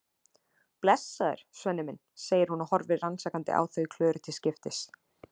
Blessaður, Svenni minn, segir hún og horfir rannsakandi á þau Klöru til skiptis.